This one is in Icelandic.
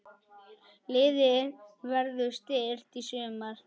Liðið verður styrkt í sumar.